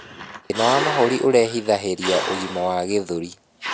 Thina wa mahũri irehithahirĩa ũgima wa gĩthũri